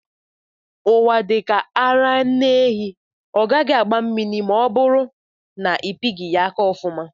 Ụwa dika ara nne ehi, ọ gaghị agba mmiri ma ọ bụrụ na ịpighi ya aka ọfuma.